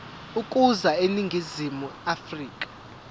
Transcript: ukuza eningizimu afrika